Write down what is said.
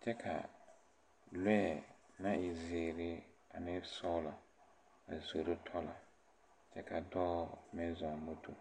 kyɛ kaa lɔɛ na e zeere ane sɔglɔ a zoro tɔlɔ kyɛ ka dɔɔ meŋ zɔɔ moto.